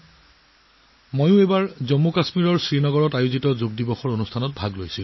শ্ৰীনগৰ জম্মু কাশ্মীৰত অনুষ্ঠিত যোগ অনুষ্ঠানত মই অংশ লৈছিলো